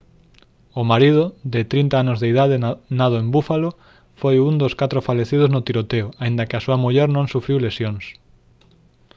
o marido de 30 anos de idade nado en buffalo foi un dos catro falecidos no tiroteo aínda que a súa muller non sufriu lesións